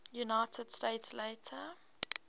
united states later